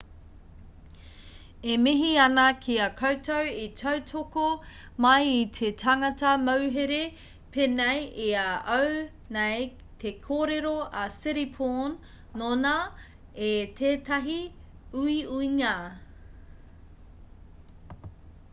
e mihi ana ki a koutou i tautoko mai i te tangata mauhere pēnei i a au nei te kōrero a siriporn nōnā i tētahi uiuinga